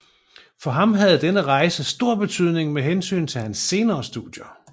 For ham havde denne rejse stor betydning med hensyn til hans senere studier